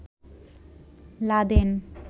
Laden